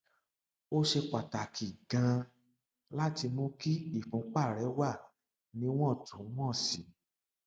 ó ṣe pàtàkì ganan láti mú kí ìfúnpá rẹ wà níwọntúnwọnsì